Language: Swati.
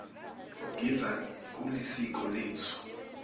kugidza kulisiko letfu